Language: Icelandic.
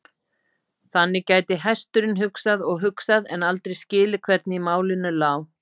Þannig gæti hesturinn hugsað og hugsað, en aldrei skilið hvernig í málinu lá.